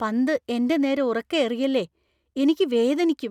പന്ത് എന്‍റെ നേരെ ഉറക്കെ എറിയല്ലേ. എനിക്ക് വേദനിയ്ക്കും.